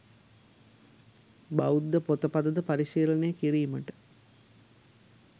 බෞද්ධ පොත, පත ද පරිශීලනය කිරීමට